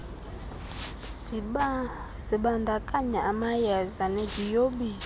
zibandakanya amayeza neziyobisi